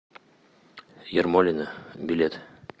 ермолино билет